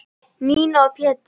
Nína og Pétur.